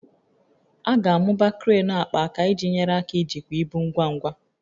A ga-amụba kreenụ akpaaka iji nyere aka ijikwa ibu ngwa ngwa